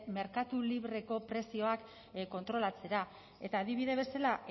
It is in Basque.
merkatu libreko prezioak kontrolatzera eta adibide bezala